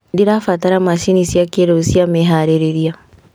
"Ndĩrabatara macini cĩa kĩrĩu cia meharĩrĩria".